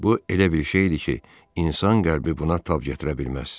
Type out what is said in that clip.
Bu elə bir şey idi ki, insan qəlbi buna tab gətirə bilməz.